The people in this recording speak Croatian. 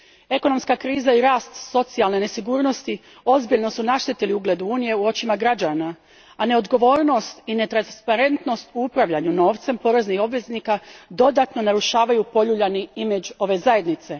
Ekonomska kriza i rast socijalne nesigurnosti ozbiljno su naštetili ugledu Unije u očima građana, a neodgovornost i netransparentnost u upravljanju novcem poreznih obveznika dodatno narušavaju poljuljani imidž ove zajednice.